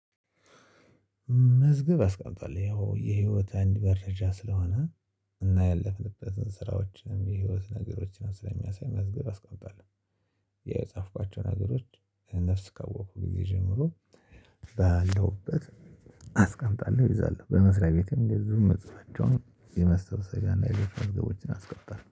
መዝገብ አስቀምጧል ያው የህይወት አንድ መረጃ ስለሆነ እና ያለፍንበትን ስራዎችን የህይወት ነገሮችንም ስለሚያሳይ መዝገብ አስቀምጣለሁ የጻፍኳቸው ነገሮች። ነፍስ ካወቅኩ ካወቅኩኝ ጀምሮ ባለሁበት አስቀምጣለሁ እይዛለሁ። በመስሪያ ቤቴም እንደዚሁ የምጽፋቸውን የመሰብሰገና የግብር መዝገቦችን አስቀጣለው